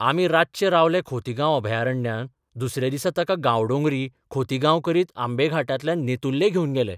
आमी रातचे रावले खोतीगांव अभयारण्यांत दुसऱ्या दिसा ताका गांवडोंगरी, खोतीगांव करीत आंबे घाटांतल्यान नेतुर्ले घेवन गेले.